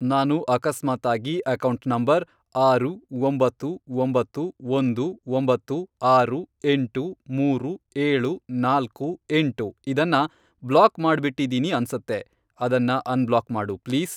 ನಾನು ಅಕಸ್ಮಾತಾಗಿ account number, ಆರು, ಒಂಬತ್ತು, ಒಂಬತ್ತು, ಒಂದು, ಒಂಬತ್ತು, ಆರು, ಎಂಟು, ಮೂರು, ಏಳು, ನಾಲ್ಕು, ಎಂಟು, ಇದನ್ನ ಬ್ಲಾಕ್ ಮಾಡ್ಬಿಟ್ಟಿದೀನಿ ಅನ್ಸತ್ತೆ, ಅದನ್ನ ಅನ್ಬ್ಲಾಕ್ ಮಾಡು ಪ್ಲೀಸ್.